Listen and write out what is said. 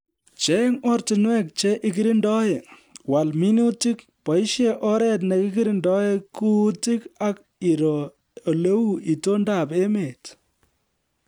Cheng' ortinwek che ikirindoe, wal minutik ,boisie oret nekirindoi kuutik ak iroo oleu itondob emet